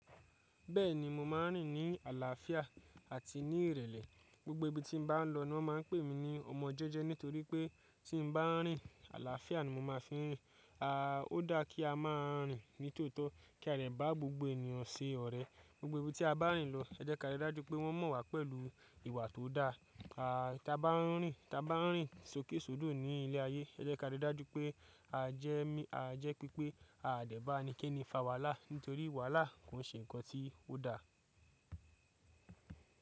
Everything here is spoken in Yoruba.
Bẹ́ẹ̀ni, mo máa ń rìn ní àlàáfíà àti ní ìrẹ̀lẹ̀. Gbogbo ibi tí n bá lọ ní wọ́n máa ń pè mí ní ọmọ jẹ́jẹ́ nítorí pé tí n bá ń rìn, àlàáfíà ni mo máa ń fi rìn. Ó dáa kí a máa rìn ní tòótọ́ kí a dẹ̀ bá gbogbo ènìyàn ṣe ọ̀rẹ́. Gbogbo ibi tí a bá ń rìn lọ, ẹ jẹ́ ka rí i dájú pé wọ́n mọ̀ wá pẹ̀lú ìwà tó dáa. Ta bá ń rìn sókèsódò ní ilẹ̀ ayé, ẹ jẹ́ ká rí i dájú pé a jẹ́ pipé a de bá ẹnikẹ́ni fa wàhálà, nítorí wàhálà kò ń ṣe nǹkan tí ó dáa.